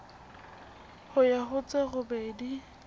ho ya ho tse robedi